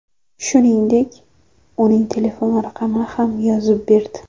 Shuningdek, uning telefon raqamini ham yozib berdi.